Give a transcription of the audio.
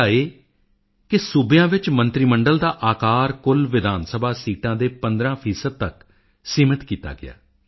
ਪਹਿਲਾ ਇਹ ਕਿ ਰਾਜਾਂ ਵਿੱਚ ਮੰਤਰੀ ਮੰਡਲ ਦਾ ਆਕਾਰ ਕੁੱਲ ਵਿਧਾਨਸਭਾ ਸੀਟਾਂ ਦੇ 15 ਤੱਕ ਸੀਮਤ ਕੀਤਾ ਗਿਆ